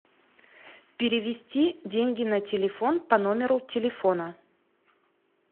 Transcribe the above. перевести деньги на телефон по номеру телефона